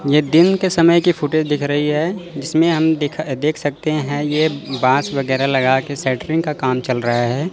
यह दिन के समय की फोटो दिख रही है जिसमें हम देख सकते हैं। यह बास वगैरह लगाकर का काम चल रहा है।